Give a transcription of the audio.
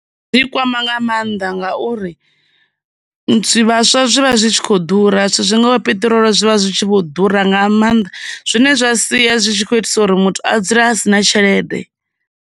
Kwama nga mannḓa ngauri, zwivhaswa zwi vha zwi tshi kho ḓura zwithu zwingaho zwivha zwi tshi vho ḓura nga maanḓa, zwine zwa sia zwi tshi khou itisa uri muthu a dzule a si na tshelede.